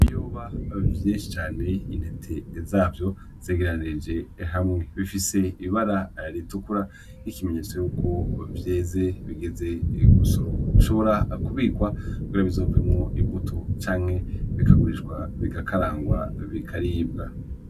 Yuba vyehicane intete zavyo zegeranije hamwe bifise ibara ritukura 'ikimenyetso y'uku vyeze bigeze gusoroma rushobora kubikwa kora bizovemwo imbuto canke bikagurishwa bigakarangwa bikaribwa.